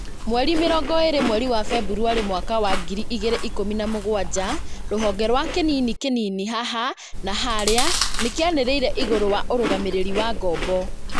Mweri mĩrongo ĩrĩ mweri wa Februarĩ mwaka wa ngiri igĩrĩ ikumi na mũgwanja, rũhonge rwa kĩnini kĩnini haha na harĩa nĩkĩanĩrĩire igũrũ wa ũrũgamĩrĩri wa ngombo